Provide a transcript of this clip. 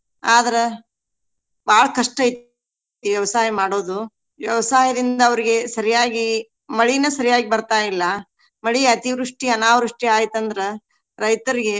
ಆದ್ರ ಬಾಳ ಕಷ್ಟ ಐತಿ ಈ ವ್ಯವಸಾಯ ಮಾಡೋದು. ವ್ಯವಸಾಯದಿಂದ ಅವ್ರಿಗೆ ಸರಿಯಾಗಿ ಮಳಿನ ಸರಿಯಾಗಿ ಬರ್ತಾಯಿಲ್ಲಾ. ಮಳಿ ಅತಿವೃಷ್ಟಿ, ಅನಾವೃಷ್ಟಿ ಆಯ್ತ ಅಂದ್ರ ರೈತರಿಗೆ.